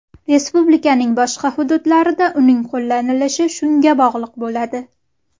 Respublikaning boshqa hududlarida uning qo‘llanilishi shunga bog‘liq bo‘ladi.